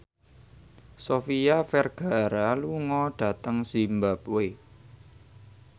Sofia Vergara lunga dhateng zimbabwe